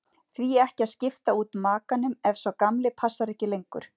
Því ekki að skipta út makanum ef sá gamli passar ekki lengur?